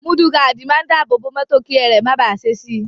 Mọ́dù gaádì máa ń dábòòbò mọ́tò kí ẹrẹ̀ máa bàá ṣe si.